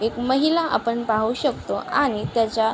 एक माहिला आपण पाहू शकतो आणि त्याच्या --